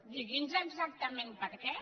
digui’ns exactament per què